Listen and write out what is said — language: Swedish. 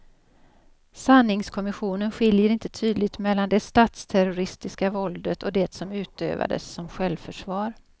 Sanningskommissionen skiljer inte tydligt mellan det statsterroristiska våldet och det som utövades som självförsvar.